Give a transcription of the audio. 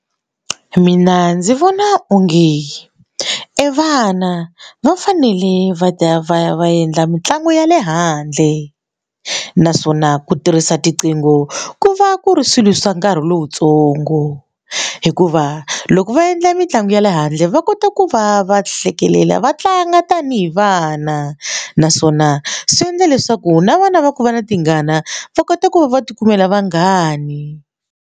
Mina ndzi vona onge evana va fanele va ya va ya va endla mitlangu ya le handle naswona ku tirhisa tinqingho ku va ku ri swilo swa nkarhi lowutsongo hikuva loko va endla mitlangu ya le handle va kota ku va va hlekelela va tlanga tanihi vana naswona swi endla leswaku na vana va ku va na tingana va kota ku va va ti kumela vanghani.